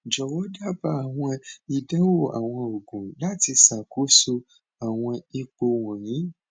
jọwọ daba awọn idanwo awọn oogun lati ṣakoso awọn ipo wọnyi